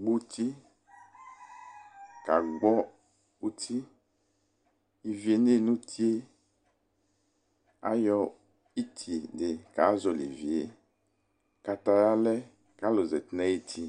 gbuti ka gbɔ uti Ivi eɲe ɲʊ utie Aƴɔ ititɩ kazɔli ivi ɲʊ utlie Kataya lɛ kalʊzati ɲʊ ayiti